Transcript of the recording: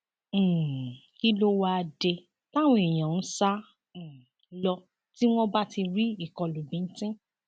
um kí ló wáá dé táwọn èèyàn ń sá um lọ tí wọn bá ti rí ìkọlù bíńtín